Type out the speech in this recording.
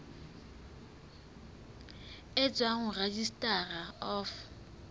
e tswang ho registrar of